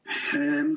Paul Puustusmaa, palun!